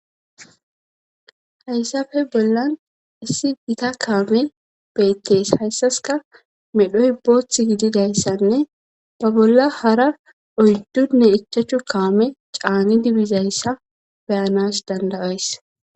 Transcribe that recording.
hayssafe bollan issi gita kaame beettes hayssaska medhoy boothth gididayssanne ba bolla hara oyddunne ichachu kaame caani dibizayssa beyanas dandayays